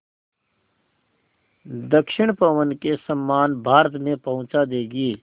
दक्षिण पवन के समान भारत में पहुँचा देंगी